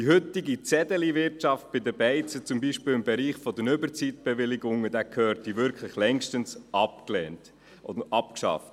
Die heutige Zettelwirtschaft bei den Kneipen im Bereich der Überzeitbewilligungen zum Beispiel gehörte wirklich längstens abgeschafft.